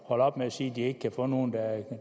holde op med at sige at de ikke kan få nogen